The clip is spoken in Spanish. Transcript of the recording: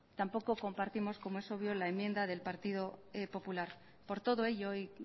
tampoco compartimos como es obvio la enmienda del partido popular por todo ello y